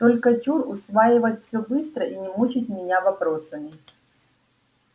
только чур усваивать всё быстро и не мучить меня вопросами